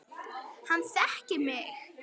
Hann þekkir mig.